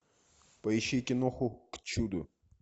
поищи киноху к чуду